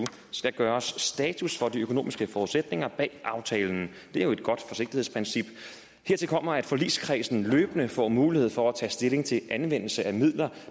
skal gøres status for de økonomiske forudsætninger bag aftalen det er jo et godt forsigtighedsprincip hertil kommer at forligskredsen løbende får mulighed for at tage stilling til anvendelse af midler